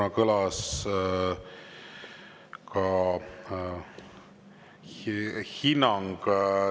Aitäh!